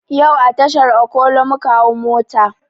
Yau a tashar okolo muka hau mota